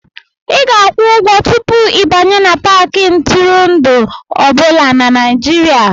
Ị ga-akwụ ụgwọ tupu ịbanye n'Paakị ntụrụndụ ọ bụla na Nigeria